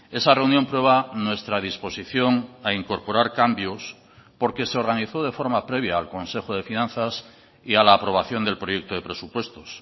esa reunión prueba nuestra disposición a incorporar cambios porque se organizó de forma previa al consejo de finanzas y a la aprobación del proyecto de presupuestos